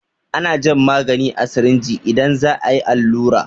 Ana jan magani a sirinji idan za a yi allura.